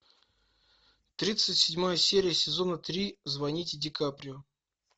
тридцать седьмая серия сезона три звоните ди каприо